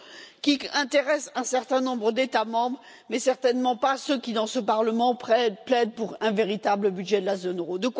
qui intéresse un certain nombre d'États membres, mais certainement pas ceux qui, dans ce Parlement, plaident pour un véritable budget de la zone euro.